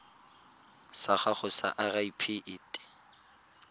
sa gago sa irp it